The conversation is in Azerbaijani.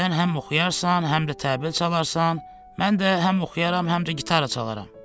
Sən həm oxuyarsan, həm də təbil çalarsan, mən də həm oxuyaram, həm də gitara çalaram.